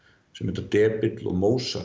sem heita depill og